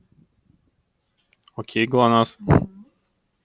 окей глонассс